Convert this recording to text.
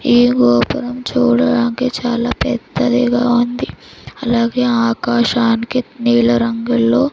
ఈ గోపురం చూడడానికి చాలా పెద్దదిగా ఉంది అలాగే ఆకాశానికి నీల రంగుల్లో--